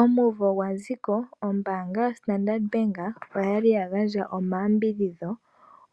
Omunvo gwaziko ombaanga yo standard bank oyali ya gandja omayambidhidho